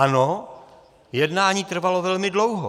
Ano, jednání trvalo velmi dlouho.